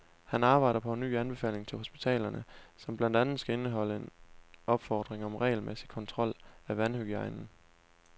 Han arbejder på en ny anbefaling til hospitalerne, som blandt andet skal indeholde en opfordring om regelmæssig kontrol af vandhygiejnen.